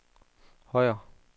Højer